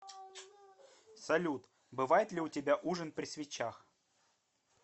салют бывает ли у тебя ужин при свечах